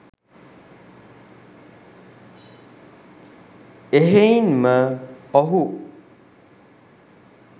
එහෙයින්ම ඔහු